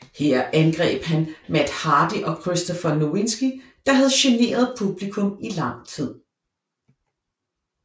Her angreb han Matt Hardy og Christopher Nowinski der havde generet publikum i lang tid